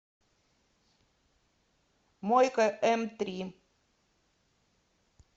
мойка мтри